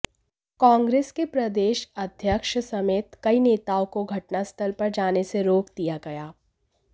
कांग्रस के प्रदेश अध्यक्ष समेत कई नेताओं को घटनास्थल पर जाने से रोक दिया गया